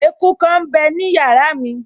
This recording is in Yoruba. Eku kan m bẹ ní yàrá mi